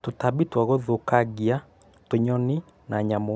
Tũtambi twa gũthũkangia, tũnyoni, na nyamũ